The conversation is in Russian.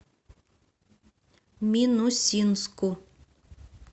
минусинску